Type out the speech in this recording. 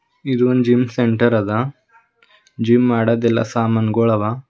ಇದೊಂದು gym centre ಆದ gym ಮಾಡೋದೆಲ್ಲ ಸಾಮಾನ್ ಗೋಳ್ ಅವ.